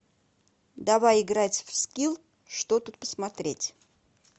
давай играть в скилл что тут посмотреть